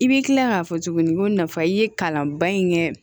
I bɛ kila k'a fɔ tuguni ko nafa i ye kalanba in kɛ